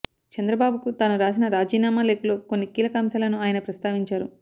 చంద్రబాబుకు తాను రాసిన రాజీనామా లేఖలో కొన్ని కీలక అంశాలను ఆయన ప్రస్తావించారు